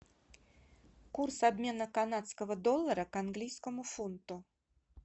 курс обмена канадского доллара к английскому фунту